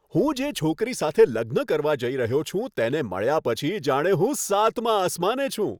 હું જે છોકરી સાથે લગ્ન કરવા જઈ રહ્યો છું, તેને મળ્યા પછી જાણે હું સાતમા આસમાને છું.